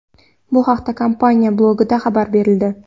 Bu haqda kompaniya blogida xabar berildi .